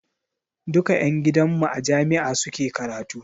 Duka ƴan gidan mu a jami'a suke karatu.